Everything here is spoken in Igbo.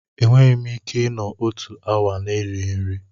Enweghị m ike ịnọ otu awa na-erighị nri.